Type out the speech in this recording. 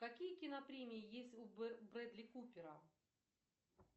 какие кинопремии есть у брэдли купера